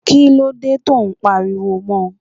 Kí ló dé tó ń pariwo mọ?